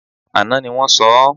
Àná ni wọ́n sọ ọ́